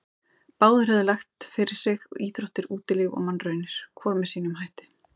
Báðir höfðu lagt fyrir sig íþróttir, útilíf og mannraunir, hvor með sínum hætti.